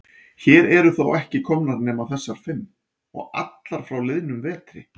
Hér eru þó ekki komnar nema þessar fimm. og allar frá liðnum vetri.